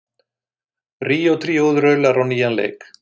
Ríó tríóið raular á nýjan leik